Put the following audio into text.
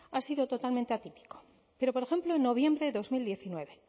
ha sido totalmente atípico pero por ejemplo en noviembre de dos mil diecinueve